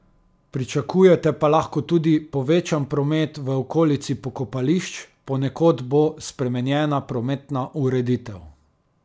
Pričakujete pa lahko tudi povečan promet v okolici pokopališč, ponekod bo spremenjena prometna ureditev.